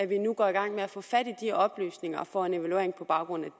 vi nu går i gang med at få fat i de oplysninger og får en evaluering på baggrund